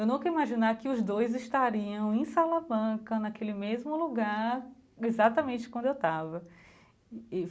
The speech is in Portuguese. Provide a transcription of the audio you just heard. Eu nunca ia imaginar que os dois estariam em Salamanca, naquele mesmo lugar, exatamente quando eu estava e e.